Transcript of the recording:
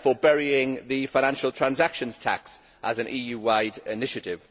for burying the financial transactions tax as an EU wide initiative.